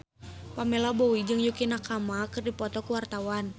Pamela Bowie jeung Yukie Nakama keur dipoto ku wartawan